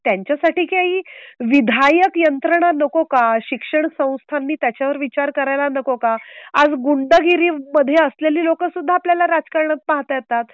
त्यांच्यासाठी काही विधायक यंत्रणा नको का? शिक्षण संस्थांनी त्याच्या वर विचार करायला नको का? आज गुंडगिरी मध्ये असलेली लोकं सुद्धा आपल्याला राजकारनात पाहता येतात.